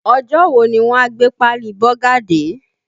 Ọjọ́ wo ni wọ́n a gbé páálí Bọ́gà dé?